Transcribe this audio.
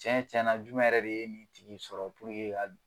Cɛn tiɲɛna jumɛn yɛrɛ de ye ni tigi sɔrɔ k'a don